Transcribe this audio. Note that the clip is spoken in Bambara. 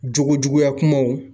Jogo juguya kumaw